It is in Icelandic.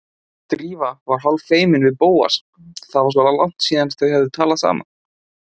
Drífa var hálffeimin við Bóas, það var svo langt síðan þau höfðu talað saman.